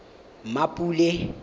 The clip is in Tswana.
mmapule